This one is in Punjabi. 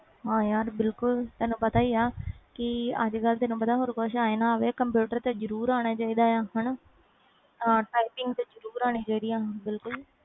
ਹਾਂ ਯਾਰ ਬਿਲਕੁਲ ਤੈਨੂੰ ਪਤਾ ਹੀ ਆ ਕਿ ਅਜ ਕਲ ਤੇ ਹੋਰ ਕੁਛ ਆਏ ਨਾ ਆਏ ਕੰਪਿਊਟਰ ਤੇ ਜਰੂਰ ਆਣਾ ਚਾਹੀਦਾ ਆ ਤੇ typing ਜਰੂਰ ਆਣੀ ਚਾਹੀਦੀ ਆ